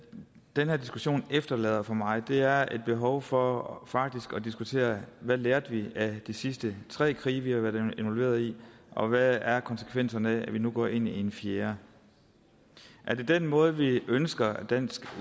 den her diskussion efterlader for mig er et behov for faktisk at diskutere hvad lærte vi af de sidste tre krige vi har været involveret i og hvad er konsekvenserne af at vi nu går ind i en fjerde er det den måde vi ønsker at dansk